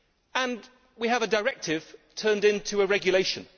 And we have a directive turned into a regulation.